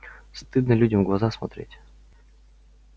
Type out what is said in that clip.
стыдно людям в глаза смотреть